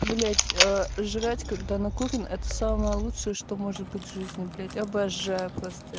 блять жрать когда накурен это самое лучшее что может быть в жизни блять обожаю просто